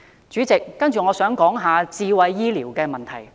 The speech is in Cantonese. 主席，我接着想談談智慧醫療的問題。